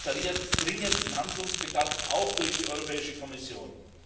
Das offeriert dringenden Handlungsbedarf auch durch die Europäische Kommission.